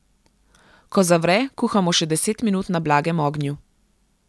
Ko zavre, kuhamo še deset minut na blagem ognju.